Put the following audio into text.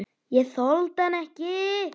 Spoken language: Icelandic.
Ég þoldi hann ekki.